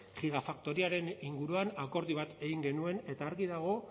gigafaktoriaren inguruan akordio bat egin genuen eta argi dago